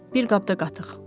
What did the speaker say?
Bir qabda qatıq.